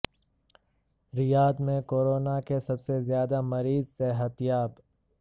ریاض میں کورونا کے سب سے زیادہ مریض صحت یاب